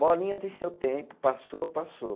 Bolinha tem seu tempo, passou, passou.